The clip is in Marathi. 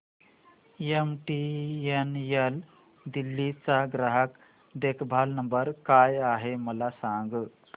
एमटीएनएल दिल्ली चा ग्राहक देखभाल नंबर काय आहे मला सांग